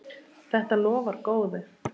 Þetta lofar góðu.